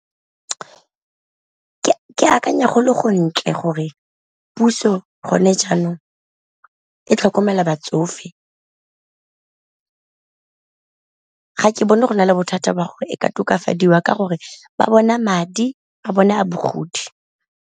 Ke akanya gore go ntle gore puso gone jaanong e tlhokomela batsofe, ga ke bone go na le bothata ba go e ka tokafadiwa ka gore ba bona madi a bone a bogodi.